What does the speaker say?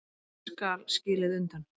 Ekkert skal skilið undan.